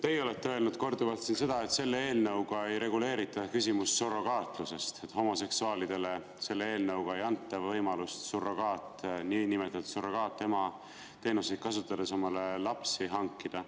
Teie olete korduvalt öelnud, et selle eelnõuga ei reguleerita küsimust surrogaatlusest, homoseksuaalidele ei anta selle eelnõuga võimalust niinimetatud surrogaatema teenuseid kasutades omale lapsi hankida.